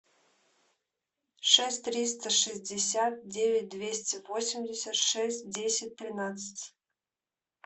шесть триста шестьдесят девять двести восемьдесят шесть десять тринадцать